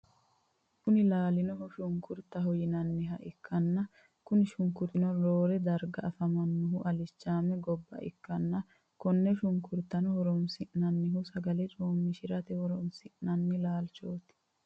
Kuni lananihu shunikuritaho yinaniha ikana kuni shunikuritino rorre dariga afamanohu alichame goba ikan kone shunukuritano horonisinanihu sagale comishirate horonisinani lalichoti.